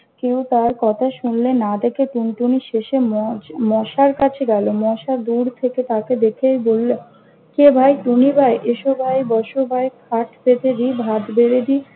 কেউ তার কথা শুনলে না দেখে টুনটুনি শেষে মস~ মশার কাছে গেল। মশা দূর থেকে তাকে দেখেই বলল, কে ভাই? টুনি ভাই? এসো ভাই, বস ভাই, খাট পেতে দি, ভাত বেড়ে দি